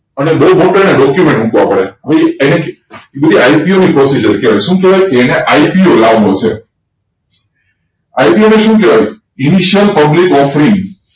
અને બઉ document મૂકવા પડે આ બધી IPO ની procedure કેવાય શું કેવાય એને IPO લાવો છે IPO એટલે શું કેવાય publicoffering